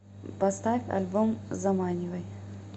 поставь альбом заманивай